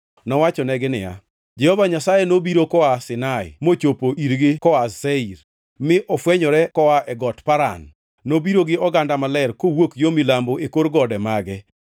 Nowachonegi niya, “Jehova Nyasaye nobiro koa Sinai mochopo irgi koa Seir, mi ofwenyore koa e got Paran. Nobiro gi oganda maler kowuok yo milambo e kor gode mage.